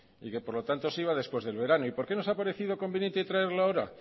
y por lo tanto se iba después del verano y por qué nos ha parecido conveniente traerlo ahora